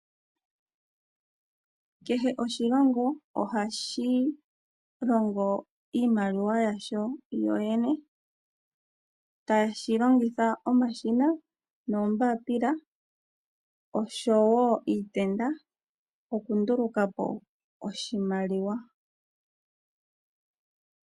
Kehe oshilongo ohashi longo iimaliwa yasho shoshene, tashi longitha omashina noombaapila noshowo iitenda okunduluka po oshimaliwa.